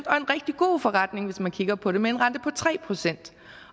og en rigtig god forretning hvis man kigger på det med en rente på tre procent